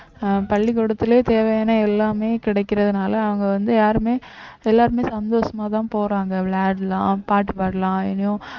அஹ் பள்ளிக்கூடத்திலே தேவையான எல்லாமே கிடைக்கிறதுனால அவங்க வந்து யாருமே எல்லாருமே சந்தோஷமாதான் போறாங்க விளையாடலாம் பாட்டு பாடலாம் இனியும்